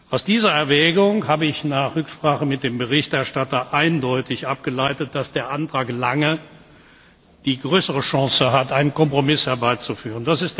Aus dieser Erwägung habe ich nach Rücksprache mit dem Berichterstatter eindeutig abgeleitet, dass der Antrag Lange die größere Chance hat, einen Kompromiss herbeizuführen.